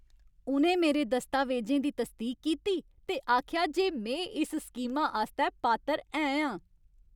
उ'नें मेरे दस्तावेजें दी तसदीक कीती ते आखेआ जे में इस स्कीमा आस्तै पात्तर है आं।